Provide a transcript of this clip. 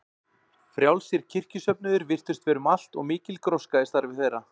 Frjálsir kirkjusöfnuðir virtust vera um allt og mikil gróska í starfi þeirra.